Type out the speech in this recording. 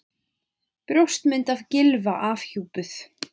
Brjóstmynd af Gylfa afhjúpuð